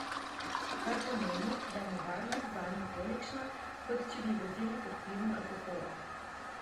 Kar pomeni, da je nevarnost zanjo tolikšna, kot če bi vozili pod vplivom alkohola.